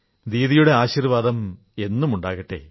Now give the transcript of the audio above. ദീദിയുടെ ആശീർവാദം എന്നുമുണ്ടാകട്ടെ